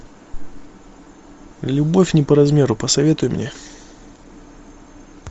любовь не по размеру посоветуй мне